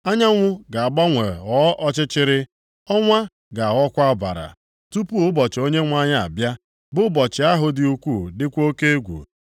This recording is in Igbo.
Anyanwụ ga-agbanwe ghọọ ọchịchịrị, ọnwa ga-aghọkwa ọbara, tupu ụbọchị Onyenwe anyị abịa, bụ ụbọchị ahụ dị ukwu dịkwa oke egwu.